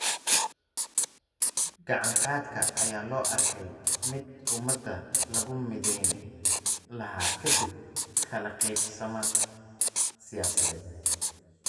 Gacan-qaadka ayaa loo arkayay mid ummadda lagu midayn lahaa ka dib kala qaybsanaan siyaasadeed.